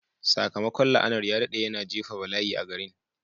Sakamakon la'anar ya daɗe, yana jefa bala'i a garin.